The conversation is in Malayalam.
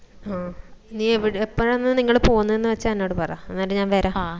ആ നീ എവിടെ എപ്പോഴാണ്നിങ്ങള് പോന്നന്ന് വെച്ച എന്നോട് പറ അന്നേരം ഞാൻ വരാം